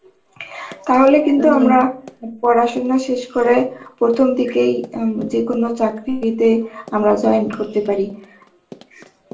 তাহলে কিন্তু আমরা পড়াশোনা শেষ করে প্রথম দিকেই উম যে কোন চাকরিতে আমরা join করতে পারি.